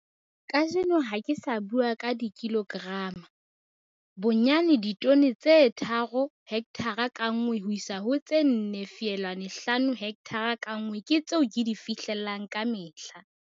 Kajeno ha ke sa bua ka dikilograma. Bonyane ditone tse 3 hekthara ka nngwe ho isa ho tse 4,5 hekthara ka nngwe ke tseo ke di fihlellang ka mehla.